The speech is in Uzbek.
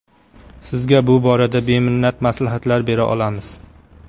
Sizga bu borada beminnat maslahatlar bera olamiz.